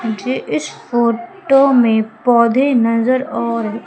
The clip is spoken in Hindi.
मुझे इस फोटो में पौधे नजर आ रहे--